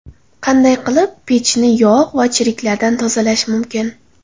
Qanday qilib pechni yog‘ va chirklardan tozalash mumkin?